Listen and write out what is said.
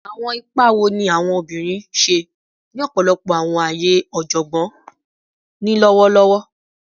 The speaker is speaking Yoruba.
Awọn ipa wo ni awọn obinrin ṣe ni ọpọlọpọ awọn aaye ọjọgbọn ni lọwọlọwọ?